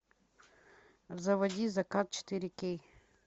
заводи закат четыре кей